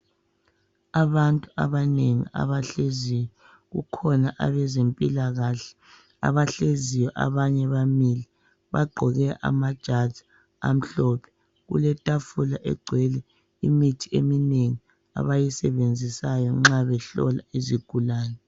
Abantu abanengi abahleziyo. Kukhona abezempilakahle abahleziyo abanye bamile abagqoke amajazi amhlophe . Kuletafula egcwele imithi eminengi abayisebenzisayo nxa behlola izigulane.